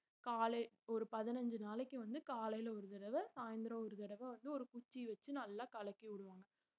காலை ஒரு பதினஞ்சு நாளைக்கு வந்து காலையில ஒரு தடவை சாயந்திரம் ஒரு தடவை வந்து ஒரு குச்சி வச்சு நல்லா கலக்கி விடுவாங்க